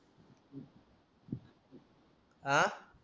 आह